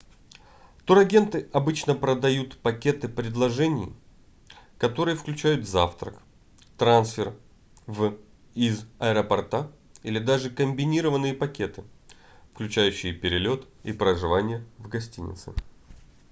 турагенты обычно продают пакеты предложений которые включают завтрак трансфер в/из аэропорта или даже комбинированные пакеты включающие перелет и проживание в гостинице